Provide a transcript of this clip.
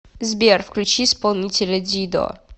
сбер включи исполнителя дидо